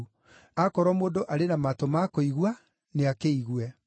(Aakorwo mũndũ arĩ na matũ ma kũigua, nĩakĩigue).